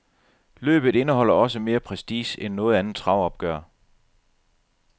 Løbet indeholder også mere prestige end noget andet travopgør.